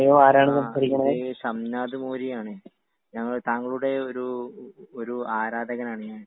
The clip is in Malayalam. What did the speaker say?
ആ ഇത് ഷംനാ‌നാഥ് കോരിയാണ്. ഞങ്ങൾ താങ്കളുടെ ഒരു ഒരു ആരാധകനാണ് ഞാൻ.